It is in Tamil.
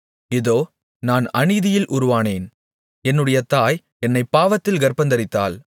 இதோ நான் அநீதியில் உருவானேன் என்னுடைய தாய் என்னைப் பாவத்தில் கர்ப்பந்தரித்தாள்